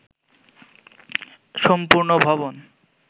সম্পূর্ণ ভবন